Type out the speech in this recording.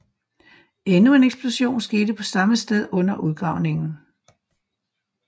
Endnu en eksplosion skete på samme sted under udgravningen